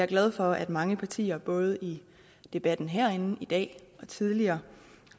glad for at mange partier både i debatten herinde i dag og tidligere